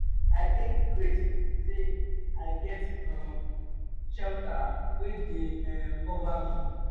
i dey grateful say i get shelter um wey dey um cover me.